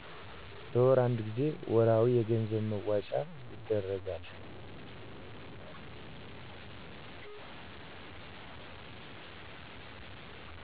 በወር አንድ ጊዜ ወርሀዊ የገንዘብ መዋጮ ይደረጋል